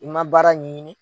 I man baara ɲɛɲini.